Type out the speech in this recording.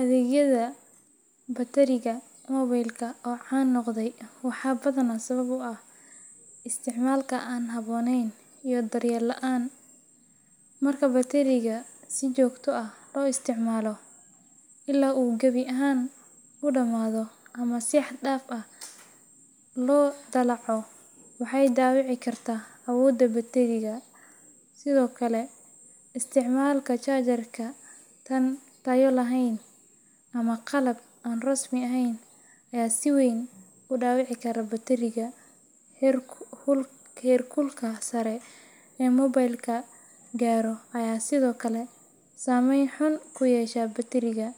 Adhegyada bateriga mobilka oo can noqda waxaa badanaa sabab u ah isticmaalka aan habboonayn iyo daryeel la’aan. Marka batteriga si joogto ah loo isticmaalo ilaa uu gabi ahaan u dhammaado ama si xad dhaaf ah loo dallaco, waxay dhaawici kartaa awoodda batteriga. Sidoo kale, isticmaalka charger aan tayo lahayn ama qalab aan rasmi ahayn ayaa si weyn u dhaawici kara batteriga. Heerkulka sare ee mobilka gaaro ayaa sidoo kale saameyn xun ku yeesha batteriga,